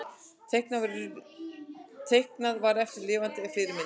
Teiknað var eftir lifandi fyrirmyndum.